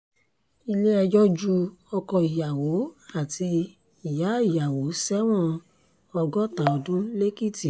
ilé-ẹjọ́ ju ọkọ ìyàwó àti ìyáàyàwó sẹ́wọ̀n ọgọ́ta ọdún lẹ́kìtì